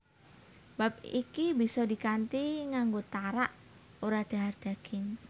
Bab iki bisa dikanthi nganggo tarak ora dhahar daging